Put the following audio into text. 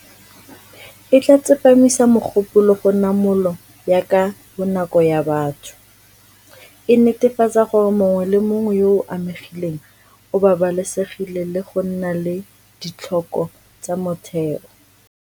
E tla tsepamisa mogopolo go namolo ya ka bonako ya batho, e netefatsa gore mongwe le mongwe yo o amegileng o babalesegile le go nna le ditlhoko tsa motheo.